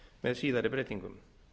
með síðari breytingum